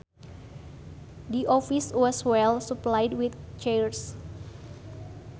The office was well supplied with chairs